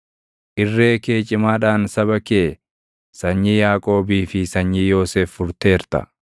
Irree kee cimaadhaan saba kee, sanyii Yaaqoobii fi sanyii Yoosef furteerta.